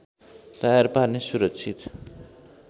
तयार पार्ने सुरक्षित